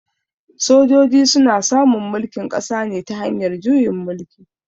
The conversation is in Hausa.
Sojoji su na samun mulkin ƙasa ne ta hanyar juyin mulki.